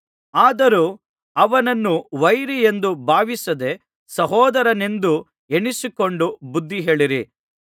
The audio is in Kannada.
ಆದರೂ ಅವನನ್ನು ವೈರಿಯೆಂದು ಭಾವಿಸದೆ ಸಹೋದರನೆಂದು ಎಣಿಸಿಕೊಂಡು ಬುದ್ಧಿಹೇಳಿರಿ